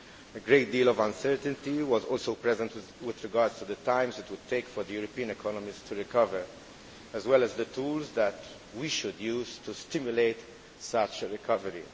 A great deal of uncertainty was also present with regard to the time it would take for the European economies to recover as well as the tools that we should use to stimulate such a recovery.